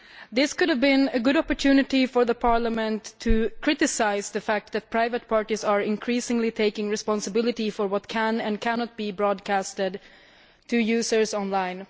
This might have been a good opportunity for Parliament to criticise the fact that private parties are increasingly taking responsibility for what can and cannot be broadcast to users online.